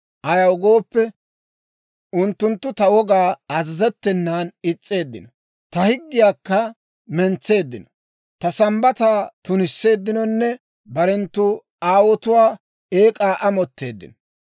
Ayaw gooppe, unttunttu ta wogaw azazettenan is's'eeddino; ta higgiyaakka mentseeddino; ta Sambbataa tunisseeddinonne barenttu aawotuwaa eek'aa amotteeddino.